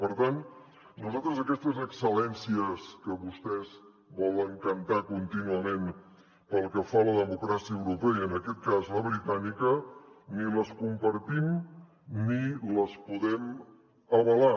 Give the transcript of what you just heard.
per tant nosaltres aquestes excel·lències que vostès volen cantar contínuament pel que fa a la democràcia europea i en aquest cas la britànica ni les compartim ni les podem avalar